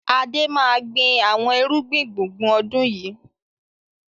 Adé máa gbin àwọn irúgbìn gbùngbùn ọdún yìí.